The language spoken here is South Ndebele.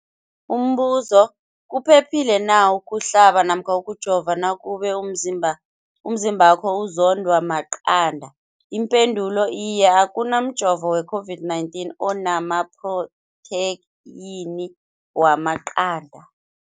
Umbuzo, kuphephile na ukuhlaba namkha ukujova nakube umzimbakho uzondwa maqanda. Ipendulo, Iye. Akuna mjovo we-COVID-19 ona maphrotheyini wamaqanda.